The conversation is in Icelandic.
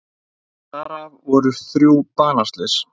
Þar af voru þrjú banaslys